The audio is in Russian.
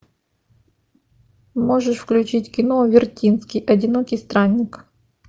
можешь включить кино вертинский одинокий странник